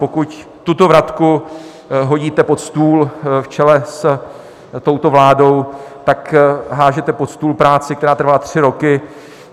Pokud tuto vratku hodíte pod stůl, v čele s touto vládou tak házíte pod stůl práci, která trvala tři roky.